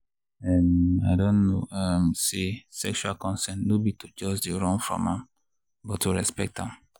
um i don know um say sexual consent no be to just dey run from am but to respect am.